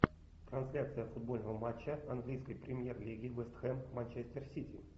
трансляция футбольного матча английской премьер лиги вест хэм манчестер сити